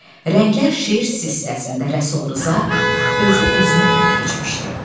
Rənglər şeir silsiləsində Rəsul Rza özü özünü ötüb keçmişdi.